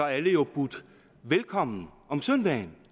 alle jo budt velkommen om søndagen